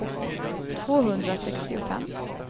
tvåhundrasextiofem